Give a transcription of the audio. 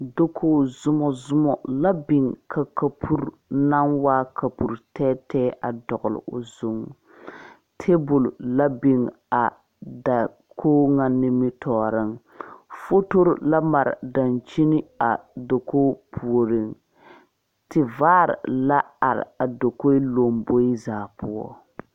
Dakogi zomɔzomɔ la biŋ ka kapuri naŋ waa kapuri tɛɛtɛɛ a dɔgle o zuŋ tabol la biŋ a dakogi ŋa nimitɔɔreŋ fotori la mare a dankyini a kogi puoriŋ tevaare la are a dakogi lamboe zaa poɔ.